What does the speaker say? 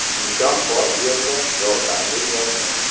Imkon bor yerda yordam beryapmiz.